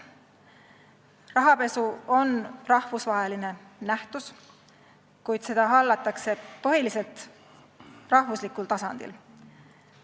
Rahapesu on rahvusvaheline nähtus, kuid seda hallatakse põhiliselt rahvuslikul tasandil.